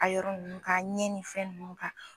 A yɔrɔ nunnu k'a ɲɛ ni fɛn nunnu k'a la